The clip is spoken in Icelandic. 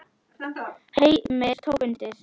Heimir tók undir.